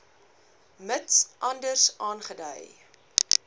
mits anders aangedui